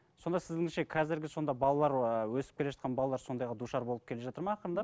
сонда сіздіңше қазіргі сонда балалар ы өсіп келе жатқан балалар сондайға душар болып келе жатыр ма ақырындап